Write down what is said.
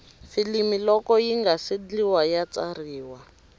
filimi loko yingase ndliwa ya tsariwa